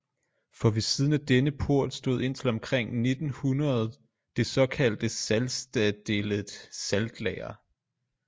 For ved siden af denne port stod indtil omkring 1900det såkaldte salzstadelet saltlager